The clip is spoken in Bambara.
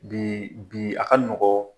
Bi bi a ka nɔgɔn